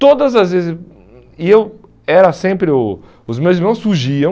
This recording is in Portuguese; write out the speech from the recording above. Todas as vezes, hum hum e eu era sempre o, os meus irmãos fugiam.